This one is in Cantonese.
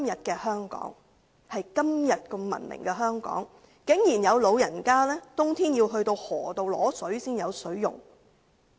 在今天如此文明的香港，有老人家在冬天竟然要到河流取水，才有水可用。